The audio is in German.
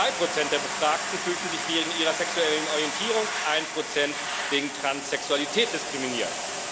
2 der Befragten fühlten sich wegen ihrer sexuellen Orientierung, 1 wegen Transsexualität diskriminiert.